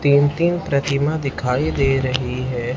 तीन तीन प्रतिमा दिखाई दे रही है।